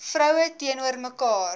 vrou teenoor mekaar